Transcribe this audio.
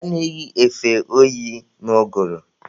A na-eyi efe oyi n'ụgụrụ.